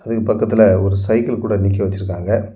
இதுக்கு பக்கத்துல ஒரு சைக்கிள் கூட நிக்க வச்சுருக்காங்க.